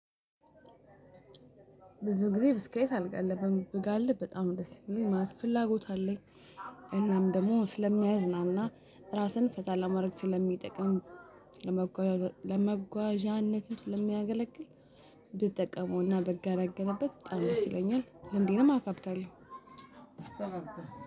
ብዙ ጊዜ ብስክሌት አልጋልብም ብጋልብ በጣም ደስ ይለኛል ማለት ፍላጎት አለኝ። እናም ደግሞ ስለሚያዝናና ራስን ፈታ ለማድረግ ስለሚጠቅም። ለመጓዣነትም ስለሚያገለግል። ብጠቀመውና ብገለገልበት በጣም ደስ ይለኛል ልምዴንም አካብታለው።